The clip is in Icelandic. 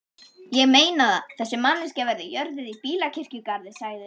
Ég meinaða, þessi manneskja verður jörðuð í bílakirkjugarði sagði